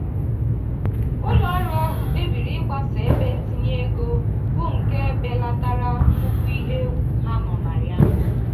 ụlọọrụ ahụ kpebiri ịgbasa ebe ntinye ego bụ nke belatara nnukwu ihe egwu ha nọ na ya.